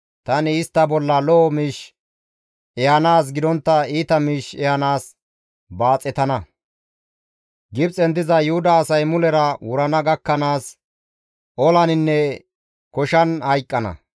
Tani istta bolla lo7o miish ehanaas gidontta iita miish ehanaas baaxetana; Gibxen diza Yuhuda asay mulera wurana gakkanaas, olaninne koshan hayqqana.